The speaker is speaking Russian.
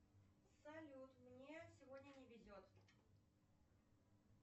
салют мне сегодня не везет